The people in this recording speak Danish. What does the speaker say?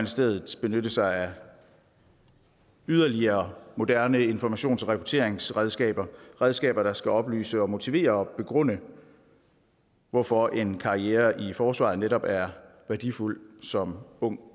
stedet benytte sig af yderligere moderne informations og rekrutteringsredskaber redskaber der skal oplyse og motivere og begrunde hvorfor en karriere i forsvaret netop er værdifuld som ung